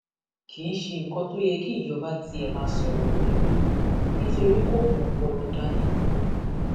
kì í ṣe nǹkan tó yẹ kí ìjọba tiẹ máa sọrọ lé lórí nítorí kó mú ọpọlọ dání